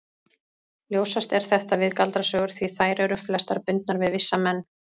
Ljósast er þetta við galdrasögur því þær eru flestar bundnar við vissa menn.